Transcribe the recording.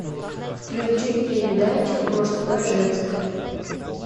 включи передачу мужское женское